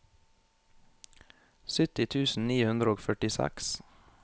sytti tusen ni hundre og førtiseks